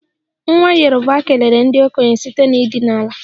Nwa yoruba kelere ndị okenye site n'ịdina ala